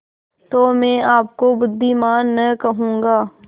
तो मैं आपको बुद्विमान न कहूँगा